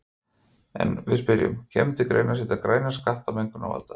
En við spyrjum, kemur til greina að setja græna skatta á mengunarvalda?